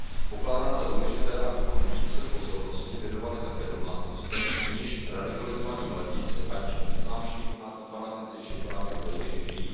Pokládám za důležité, abychom více pozornosti věnovali také domácnostem, v nichž radikalizovaní mladíci ať islámští fanatici či fanatik Breivik žijí.